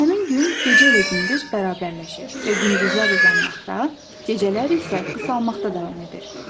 Həmin gün gecə ilə gündüz bərabərləşir və gündüzlər uzanmaqda, gecələr isə qısalmaqda davam edir.